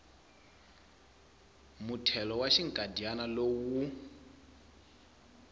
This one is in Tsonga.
muthelo wa xinkadyana lowu wu